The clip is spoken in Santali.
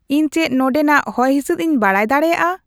ᱤᱧ ᱪᱮᱫ ᱱᱚᱸᱰᱮᱱᱟᱜ ᱦᱚᱭᱦᱤᱥᱤᱫ ᱤᱧ ᱵᱟᱰᱟᱭ ᱫᱟᱲᱮᱭᱟᱜᱼᱟ